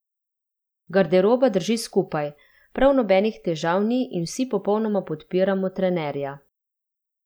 Garderoba drži skupaj, prav nobenih težav ni in vsi popolnoma podpiramo trenerja.